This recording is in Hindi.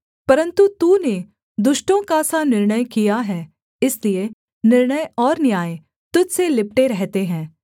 परन्तु तूने दुष्टों का सा निर्णय किया है इसलिए निर्णय और न्याय तुझ से लिपटे रहते है